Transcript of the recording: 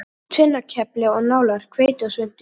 Tvinnakefli og nálar, hveiti og svuntur.